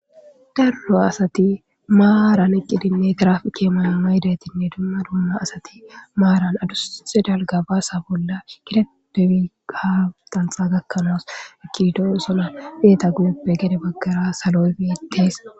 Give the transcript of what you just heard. Darro asati maaran eqqidinne giraaf keeman maydetinne dumma dumma asati maaran adusxe dalga baasa bolla kitetefi gaaxanxa gakkanaas ekido sona beeta guyeppe gede baggara saloyfieteys.